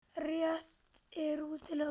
Rétt er að útiloka ekkert